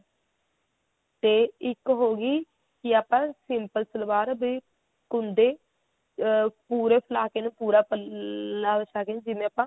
ਤੇ ਇੱਕ ਹੋਗੀ ਕੀ ਆਪਾਂ simple ਸਲਵਾਰ ਵੀ ਕੁੰਡੇ ਅਹ ਪੂਰੇ ਫੂਲਾ ਕੇ ਪੂਰਾ ਪੱਲਾ ਵਛਾ ਕੇ ਜਿਵੇਂ ਆਪਾਂ